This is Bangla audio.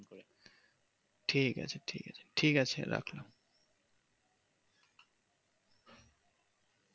ঠিক আছে ঠিক আছে ঠিক আছে রাখলাম